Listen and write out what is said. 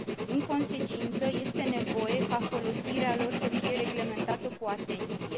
În consecință, este nevoie ca folosirea lor să fie reglementată cu atenție.